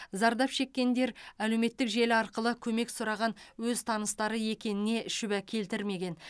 зардап шеккендер әлеуметтік желі арқылы көмек сұраған өз таныстары екеніне шүбә келтірмеген